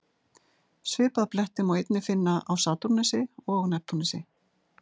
Svipaða bletti má einnig finna á Satúrnusi og Neptúnusi.